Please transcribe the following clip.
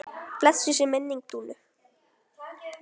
Blessuð sé minning Dúnu.